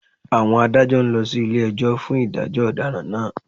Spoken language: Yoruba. Àwọn Adájọ́ ń lọ sí ilé-ẹjọ́ fún ìdájọ́ ọ̀daràn náà